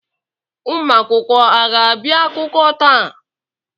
Ụmụ akwụkwọ aga abịa akwụkwọ taa?